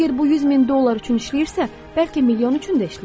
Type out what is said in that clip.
Əgər bu 100 min dollar üçün işləyirsə, bəlkə milyon üçün də işləyər?